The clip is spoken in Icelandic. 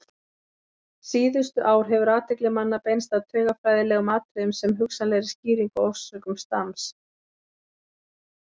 Síðustu ár hefur athygli manna beinst að taugafræðilegum atriðum sem hugsanlegri skýringu á orsökum stams.